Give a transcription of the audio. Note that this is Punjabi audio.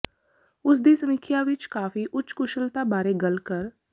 ਉਸ ਦੀ ਸਮੀਖਿਆ ਇੱਕ ਕਾਫ਼ੀ ਉੱਚ ਕੁਸ਼ਲਤਾ ਬਾਰੇ ਗੱਲ ਕਰ